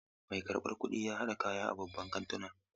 Mai karɓan kuɗin ya haɗa kaya a babban kantuna.